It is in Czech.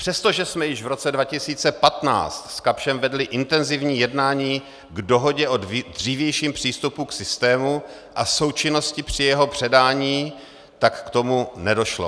Přestože jsme již v roce 2015 s Kapschem vedli intenzivní jednání k dohodě o dřívějším přístupu k systému a součinnosti při jeho předání, tak k tomu nedošlo.